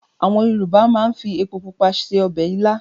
Àwọn Yorùbá máa ń fi epo pupa se ọbẹ̀ ilá.